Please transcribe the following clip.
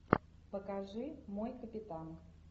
покажи мой капитан